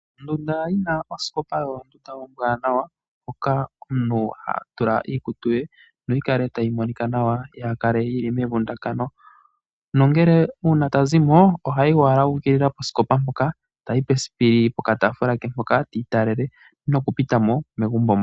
Ondunda yina osikopa oyo ondunda ombwanawa moka omuntu hatula iikutu ye noyi kale tayi monika nawa kaa yi kale yili mevundakano, nongele uuna ta zimo ohayibowala uukilila posikopa mpoka etayi pesipili pokataafula ke mpoka tiitalele nokupita mo megumbo mo.